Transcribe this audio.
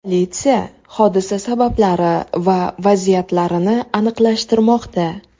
Politsiya hodisa sabablari va vaziyatlarini aniqlashtirmoqda.